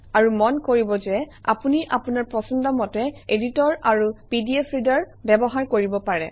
আৰু মন কৰিব যে আপুনি আপোনাৰ পছন্দ মতে এডিটৰ আৰু পিডিএফ ৰিডাৰ ব্যৱহাৰ কৰিব পাৰে